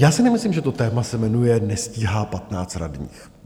Já si nemyslím, že to téma se jmenuje "nestíhá 15 radních".